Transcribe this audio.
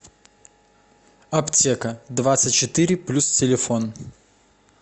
аптека двадцать четыре плюс телефон